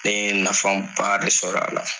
Ne ye nafa ba de sɔrɔ a la